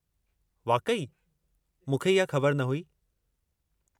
वाक़ई? मूंखे इहा ख़बर न हुई।